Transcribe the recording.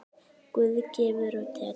Guð gefur og tekur.